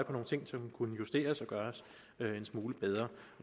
på nogle ting som kunne justeres og gøres en smule bedre